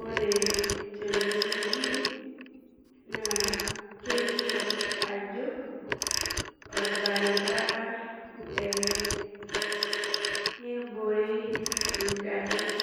Ore tenewueji na kelio ajo orbaribara ele nebore ngarin